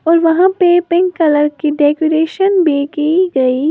और वहां पे पिंक कलर की डेकोरेशन भी की गई--